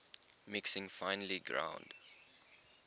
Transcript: mixing finely ground